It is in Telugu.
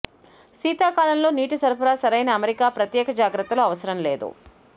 శీతాకాలంలో నీటి సరఫరా సరైన అమరిక ప్రత్యేక జాగ్రత్తలు అవసరం లేదు